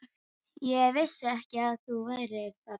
Ég vissi ekki að þú værir þarna.